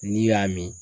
N'i y'a min